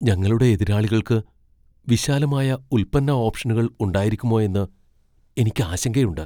ഞങ്ങളുടെ എതിരാളികൾക്ക് വിശാലമായ ഉൽപ്പന്ന ഓപ്ഷനുകൾ ഉണ്ടായിരിക്കുമോയെന്ന് എനിക്ക് ആശങ്കയുണ്ട്.